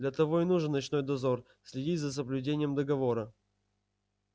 для того и нужен ночной дозор следить за соблюдением договора